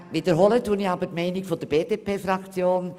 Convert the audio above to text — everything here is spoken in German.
Ich wiederhole aber die Haltung der BDP-Fraktion.